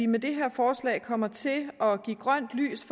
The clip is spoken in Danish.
med det her forslag kommer til at give grønt lys